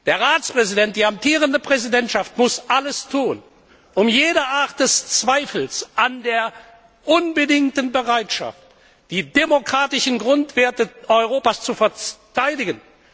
Der Ratspräsident der amtierenden Präsidentschaft muss alles tun, um jede Art des Zweifels an der unbedingten Bereitschaft zu beseitigen, die demokratischen Grundwerte Europas zu verteidigen.